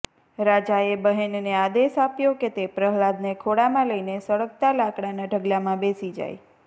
રાજાએ બહેનને આદેશ આપ્યો કે તે પ્રહલાદને ખોળામાં લઇને સળગતા લાકડાંના ઢગલામાં બેસી જાય